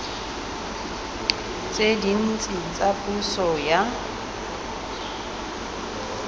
tse dintsi tsa puso ya